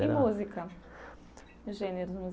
E música, gêneros